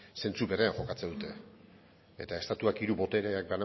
zentzu berean jokatzen dute eta estatuak hiru botereak